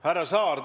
Härra Saar!